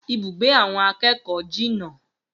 Ibùgbé àwọn akẹ́kọ̀ọ́ jìnà